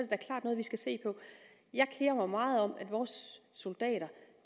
da klart noget vi skal se på jeg kerer mig meget om at vores soldater